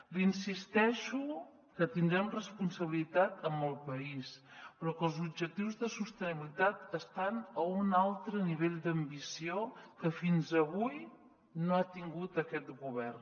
li insisteixo que tindrem responsabilitat amb el país però que els objectius de sostenibilitat estan a un altre nivell d’ambició que fins a avui no ha tingut aquest govern